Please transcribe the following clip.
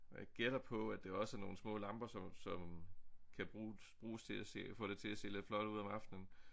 Og jeg gætter på at det også er nogle små lamper som som kan brug bruges til at se få det til at se lidt flot ud om aftenen